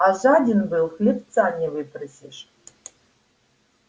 а жаден был хлебца не выпросишь